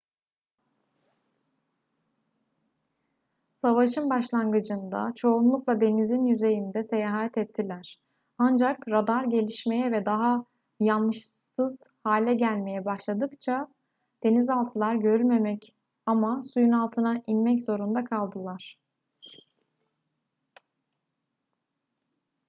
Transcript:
savaşın başlangıcında çoğunlukla denizin yüzeyinde seyahat ettiler ancak radar gelişmeye ve daha yanlışsız hale gelmeye başladıkça denizaltılar görülmemek ama suyun altına inmek zorunda kaldılar